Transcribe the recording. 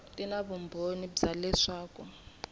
ti na vumbhoni bya leswaku